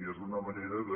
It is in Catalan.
i és una manera de